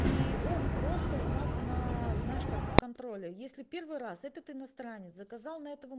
и он просто у нас на знаешь как на контроле если первый раз этот иностранец заказал на этого